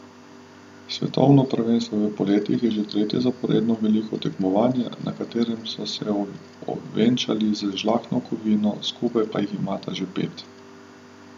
Svetovno prvenstvo v poletih je že tretje zaporedno veliko tekmovanje, na katerem ste se ovenčali z žlahtno kovino, skupaj pa jih imate že pet.